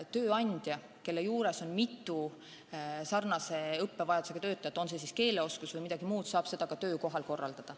Tööandja, kelle alluvuses on mitu sarnase õppevajadusega töötajat – on siis vaja parandada keeleoskust või midagi muud –, saab seda ka töökohas korraldada.